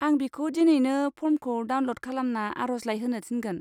आं बिखौ दिनैनो फर्मखौ डाउनल'ड खालामना आरजलाइ होनो थिनगोन।